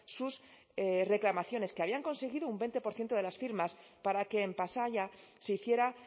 sus reclamaciones que habían conseguido un veinte por ciento de las firmas para que en pasaia se hiciera